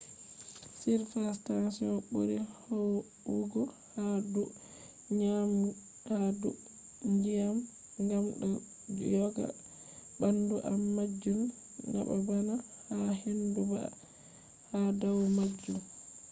surface tension buri huwugo ha dou ndyiam gam do joga bandum am majun nabana ha hindu bah ha dau majun